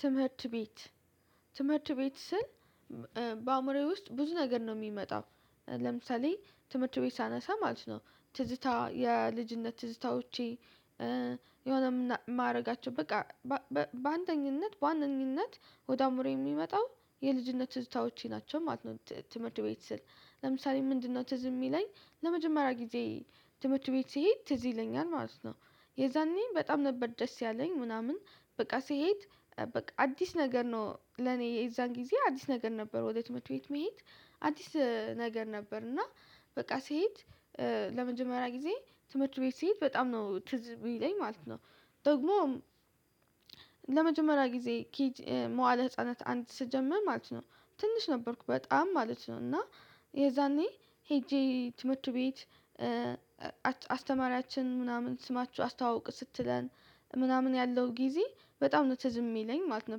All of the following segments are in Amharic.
ትምህርት ቤት ትምህርት ቤት ስል በአእምሮዬ ውስጥ ብዙ ነገር ነው የሚመጣው። ለምሳሌ ትምህርት ቤት ሳነሳ ማለት ነው ትዝታ የልጅነት ትዝታዎቼ። የሆነ ማድረጋቸው በቃ- በአንደኝነት በአንደኝነት ወደ አእምሮዬ የሚመጣው የልጅነት ትዝታዎቼ ናቸው ማለት ነው። ትምህርት ቤት ስል ለምሳሌ ምንድነው ትዝ የሚለኝ ለመጀመሪያ ጊዜ- ትምህርት ቤት ሲሄድ ትዝ ይለኛል ማለት ነው። የዛኔ በጣም ነበር ደስ ያለኝ ምናምን በቃ ስሄድ በቃ አዲስ ነገር ነው ለኔ የዛን ጊዜ አዲስ ነገር ነበር ወደ ትምርት ቤት መሄድ- አዲስ ነገር ነበር እና በቃ ስሄድ ለመጀመሪያ ጊዜ ትምህርት ቤት ስሄድ በጣም ነው ትዝ እሚለኝ ማለት ነው። ደግሞ- ለመጀመሪያ ጊዜ መዋለ ህፃናት አንድ ስጀምር ማለት ነው ትንሽ ነበርኩ በጣም ማለት ነው። እና የዛኔ ሄጄ ትምህርት ቤት- አስተማሪያችን ምናምን ስማችሁ አስተዋውቁ ስትለን ምናምን ያለው ጊዜ በጣም ነው ትዝ የሚለኝ ማለት ነው።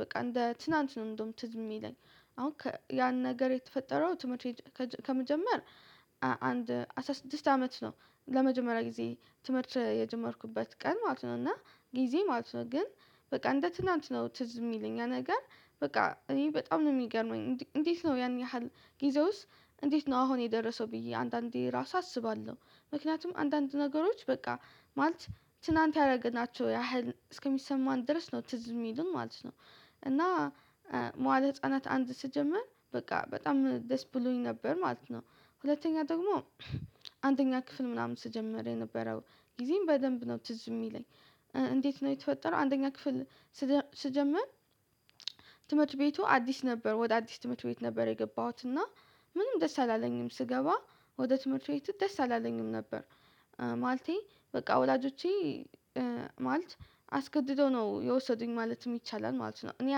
በቃ እንደ ትናንት ነው እንደውም ትዝ የሚለኝ። አሁን ያን ነገር የተፈጠረው ትምህርት ከመጀመር- አንድ አስራ ስድስት አመት ነው ለመጀመሪያ ጊዜ ትምህርት የጀመርኩበት ቀን ማለት ነው። እና ጊዜ ማለት ነው ግን በቃ እንደ ትናንት ነው ትዝ የሚለኝ ያ ነገር- በቃ እኔ በጣም ነው የሚገርመኝ እንዴት ነው ያን ያህል ጊዜውስ እንዴት ነው አሁን የደረሰው ብዬ አንዳንዴ ራሱ አስባለሁ። ምክንያቱም አንዳንድ ነገሮች በቃ ማለት ትናንት ያደረገናቸው ያህል እስከሚሰማን ድረስ ነው ትዝ የሚሉን ማለት ነው። እና- መዋል ህፃናት አንድ ስጀምር በቃ በጣም ደስ ብሎኝ ነበር ማለት ነው። ሁለተኛ ደግሞ- አንደኛ ክፍል ምናምን ስጀምር የነበረው ጊዜን በደንብ ነው ትዝ የሚለኝ። እንዴት ነው የተፈጠረው አንደኛ ክፍል- ስጀምር ትምህርት ቤቱ አዲስ ነበር። ወደ አዲስ ትምህርት ቤት ነበር የገባሁት እና ምንም ደስ አላለኝም ስገባ ወደ ትምህርት ቤት ደስ አላለኝም ነበር። ማለቴ በቃ ወላጆቼ- ማለት አስገድደው ነው የወሰዱኝ ማለትም ይቻላል ማለት ነው። እኔ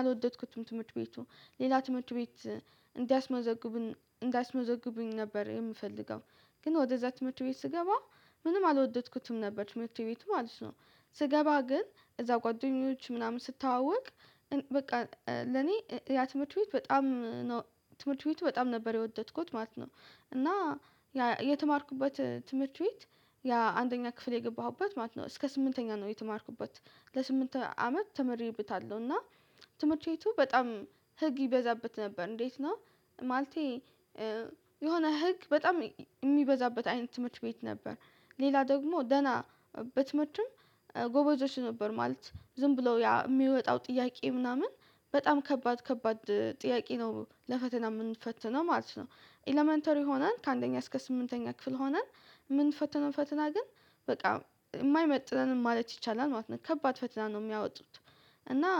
አልወደድኩትም ትምህርት ቤቱን: ሌላ ትምህርት ቤት እንዲያስመዘግቡኝ እንዲያስመዘግቡኝ ነበር የምፈልገው። ግን ወደዛ ትምህርት ቤት ስገባ ምንም አልወደድኩትም ነበር ትምህርት ቤቱን ማለት ነው። ስገባ ግን እዛ ጓደኞች ምናምን ስተዋወቅ- በቃ ለኔ ያ ትምህርት ቤት በጣም- ትምህርት ቤቱ በጣም ነበር የወደድኩት ማለት ነው። እና የተማርኩበት ትምህርት ቤት ያ አንደኛ ክፍል የገባሁበት ማለት ነው እስከ ስምንተኛ ነው የተማርኩበት። ለስምንት አመት ተመሬበታለሁ። እና ትምህርት ቤቱ በጣም ህግ ይበዛበት ነበር። እንዴት ነው ማለቴ- የሆነ ህግ በጣም የሚበዛበት አይነት ትምህርት ቤት ነበር። ሌላ ደግሞ ደህና በትምህርትም- ጎበዞች ነበር ማለት ነው። ዝም ብለው የሚወጣው ጥያቄ ምናምን በጣም ከባድ ከባድ ጥያቄ ነው ለፈተና የምንፈተነው ማለት ነው። ኤለመንተሪ ሆነን ከአንደኛ እስከ ስምንተኛ ክፍል ሆነን- ምንፈተነው ፈተና ግን በቃ የማይመጥነን ማለት ይቻላል ማለት ነው ከባድ ፈተና ነው የሚያወጡት። እና-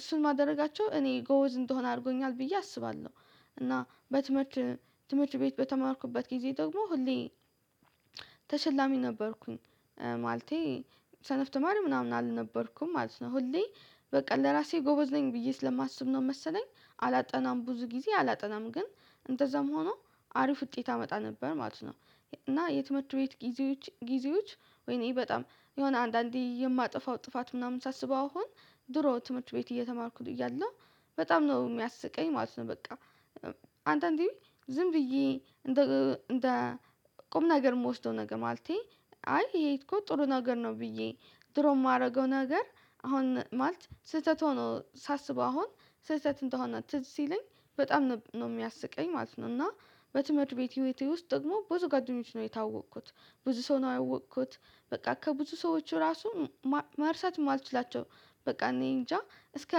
እሱን ማድረጋቸው እኔ ጎበዝ እንድሆን አድርጎኛል ብዬ አስባለሁ። እና በትምህርት ትምህርት ቤት በተማርኩበት ጊዜ ደግሞ ሁሌ- ተሸላሚ ነበርኩኝ። ማለቴ ሰነፍ ተማሪ ምናምን አልነበርኩም ማለት ነው። ሁሌ በቃ ለራሴ ጎበዝ ነኝ ብዬ ስለማስብ ነው መሰለኝ አላጠናም። ብዙ ጊዜ አላጠናም። ግን እንደዛም ሆኖ አሪፍ ውጤት አመጣ ነበር ማለት ነው። እና የትምህርት ቤት ጊዜዎች ጊዜዎች ወይኔ በጣም የሆነ አንዳንዴ የማጠፋው ጥፋት ምናምን ሳስበው አሁን ድሮ ትምህርት ቤት እየተማርኩት እያለሁ በጣም ነው የሚያስቀኝ ማለት ነው። በቃ- አንዳንዴም ዝም ብዬ እንደ ቁም ነገር የምወስደው ነገር ማለቴ- አይ ይሄ እኮ ጥሩ ነገር ነው ብዬ- ድሮ የማደርገው ነገር አሁን ማለት ስህተት ሆኖ ሳስበው አሁን ስህተት እንደሆነ ትዝ ሲለኝ በጣም ነው የሚያስቀኝ ማለት ነው: እና በትምህርት ቤት ውስጥ ደግሞ ብዙ ጉአደኞች ነው የተዋወቅኩት። ብዙ ሰው ነው ያወቅኩት በቃ ከብዙ ሰዎች ራሱ መርሳት የማልችላቸው- በቃ እኔ እንጃ እስከ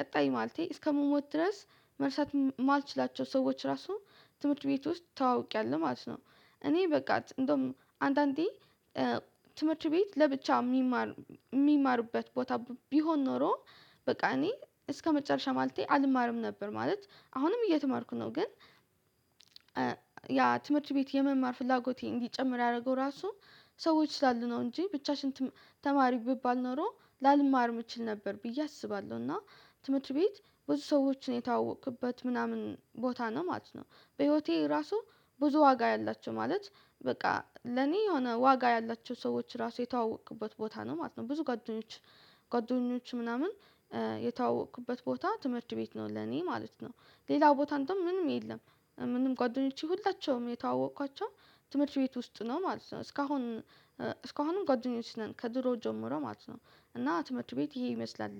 ቀጣይ ማለቴ እስከምሞት ድረስ መርሳት ማልችላቸው ሰዎች ራሱ ትምህርት ቤት ውስጥ ተዋውቂያለሁ ማለት ነው። እኔ በቃ እንደውም አንዳንዴ ትምህርት ቤት ለብቻ የሚማር የሚማርበት ቦታ ቢሆን ኖሮ- በቃ እኔ እስከመጨረሻ ማለቴ አልማርም ነበር። ማለት አሁንም እየተማርኩ ነው። ግን- ያ ትምህርት ቤት የመማር ፍላጎቴ እንዲጨምር ያደረገው ራሱ- ሰዎች ስላሉ ነው እንጂ ብቻሽን- ተማሪ ቢባል ኖሮ ላልማርም እችል ነበር ብዬ አስባለሁ። ና ትምህርት ቤት ብዙ ሰዎችን የተዋወኩበት ምናምን ቦታ ነው ማለት ነው። በህይወቴ ራሱ ብዙ ዋጋ ያላቸው ማለት በቃ ለኔ የሆነ ዋጋ ያላቸው ሰዎች ራሱ የተዋወኩበት ቦታ ነው ማለት ነው። ብዙ ጓደኞች- ጓደኞች ምናምን የተዋወቅኩበት ቦታ ትምህርት ቤት ነው ለኔ ማለት ነው። ሌላው ቦታ እንዴዉም ምንም የለም። ሁሉንም ጓደኞቼ ሁላቸውም የተዋወቅኳቸው ትምህርት ቤት ውስጥ ነው ማለት ነው። እስካሁን እስካሁንም ጓደኞች ነን ከድሮ ጀምሮ ማለት ነው። እና ትምህርት ቤት ይሄን ይመስላል።